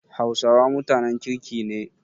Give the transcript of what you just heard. Hausawa mutanen kirki ne.